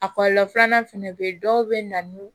A kɔlɔlɔ filanan fɛnɛ be yen dɔw be na ni